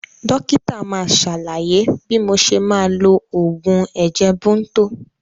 Dókítà máa sàlàyé bí mo ṣe máa lo oògùn ẹ̀jẹ̀ Bunto